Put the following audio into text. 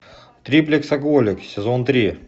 триплексоголик сезон три